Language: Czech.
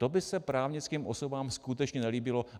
To by se právnickým osobám skutečně nelíbilo.